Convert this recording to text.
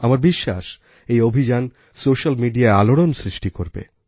আমার বিশ্বাস এই অভিযান সোশ্যাল মিডিয়ায় আলোড়ন সৃষ্টি করবে